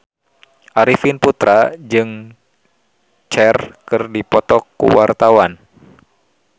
Arifin Putra jeung Cher keur dipoto ku wartawan